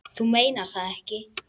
Þú meinar það ekki.